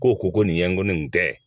K'o ko ko nin ye n ko ne nin tɛ